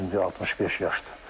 65 yaşdır.